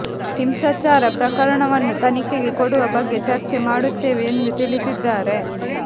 ಹಿಂಸಾಚಾರ ಪ್ರಕರಣವನ್ನು ತನಿಖೆಗೆ ಕೊಡುವ ಬಗ್ಗೆ ಚರ್ಚೆ ಮಾಡುತ್ತೇವೆ ಎಂದು ತಿಳಿಸಿದ್ದಾರೆ